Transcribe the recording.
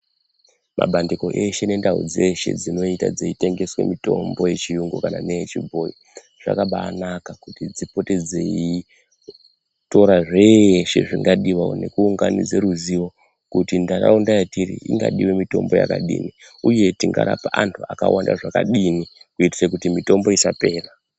Mabandiko eshe nendau dzeshe dzinoita dzeitengeswa mitombo yechiyungu kana neyechbhoyi zvakabaanaka kuti dzipote dzeitora zveeshe zvingadiwawo ne kuunganidze ruzivo kuti ntaraunda yetiri ingadiwe mitombo yakadini uye kuti tingarape antu akawande zvakadini kuitire kuti mitombo isapera.